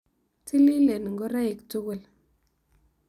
Tililen ngoroik tugul.